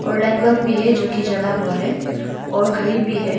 और light bulb भी है जो की जला हुआ है और घड़ी भी है।